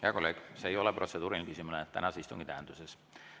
Hea kolleeg, see ei ole protseduuriline küsimus tänase istungi tähenduses.